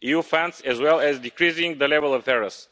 EU funds, as well as decreasing the level of errors.